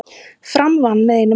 Fram vann með einu marki